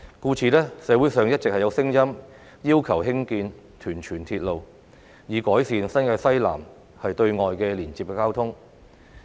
故此，社會上一直有聲音要求興建屯荃鐵路，以改善新界西南對外的交通連接。